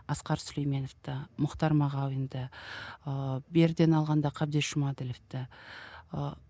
асқар сүлейменовті мұхтар мағауинді ыыы беріден алғанда қабдеш жұмаділовті ыыы